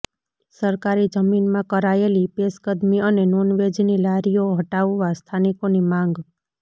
સરકારી જમીનમાં કરાયેલી પેશકદમી અને નોનવેજની લારીઓ હટાવવા સ્થાનિકોની માંગ